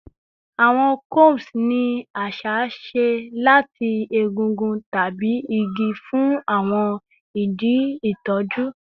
Awọn combs ni aṣa ṣe lati egungun tabi igi fun awọn idi itọju